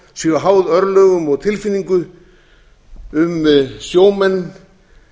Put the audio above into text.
séu háð örlögum og tilfinningu um sjómenn